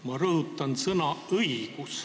Ma rõhutan sõna "õigus".